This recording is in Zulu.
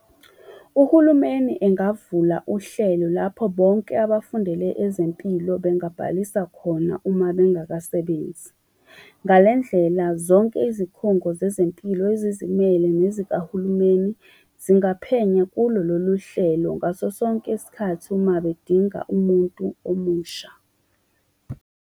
Uhulumeni engavula uhlelo lapho bonke abafundele ezempilo bengabhalisa khona uma bengakasebenzi. Ngale ndlela zonke izikhungo zezempilo ezizimele, nezikahulumeni zingaphenya kulo loluhlelo ngaso sonke isikhathi uma bedinga umuntu omusha.